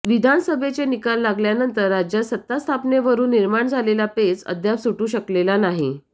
विधानसभेचे निकाल लागल्यानंतर राज्यात सत्तास्थापनेवरून निर्माण झालेला पेच अद्याप सुटू शकलेला नाही